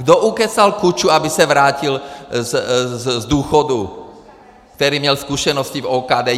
Kdo ukecal Kuču, aby se vrátil z důchodu, který měl zkušenosti z OKD?